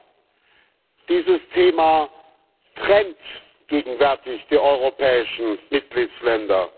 2. Dieses Thema trennt gegenwärtig die europäischen Mitgliedstaaten.